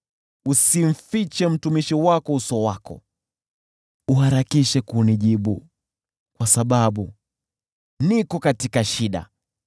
Usimfiche mtumishi wako uso wako, uharakishe kunijibu, kwa sababu niko katika shida.